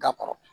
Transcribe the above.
Da kɔrɔ